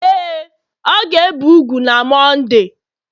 ee, ọ ga-ebe úgwù na Mọnde